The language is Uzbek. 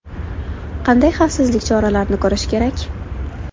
Qanday xavfsizlik choralarini ko‘rish kerak?